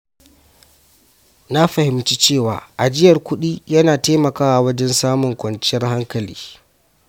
Na fahimci cewa ajiyar kuɗi yana taimakawa wajen samun kwanciyar hankali.